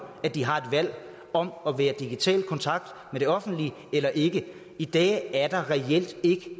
at de har et valg om at være i digital kontakt med det offentlige eller ikke i dag er der reelt ikke